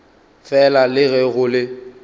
fela le ge go le